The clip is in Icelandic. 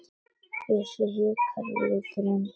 Bjössi hikar og lítur undan.